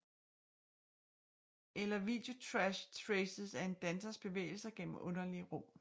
Eller videotrashtraces af en dansers bevægelser gennem underlige rum